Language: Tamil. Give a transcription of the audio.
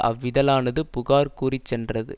அவ்விதழானது புகார் கூறிச்சென்றது